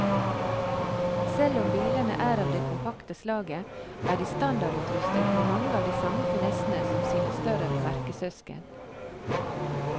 Selv om bilene er av det kompakte slaget, er de standardutrustet med mange av de samme finessene som sine større merkesøsken.